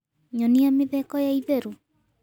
nyonĩa mitheko ya ĩtherũ